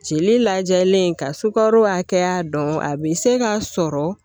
Jeli lajɛlen ka sukaro hakɛya dɔn a bɛ se ka sɔrɔ